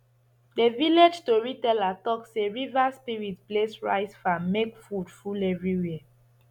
the village tori teller talk say river spirits bless rice farm make food full everywhere